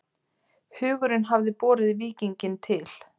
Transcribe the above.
Hugurinn hafði borið víkinginn til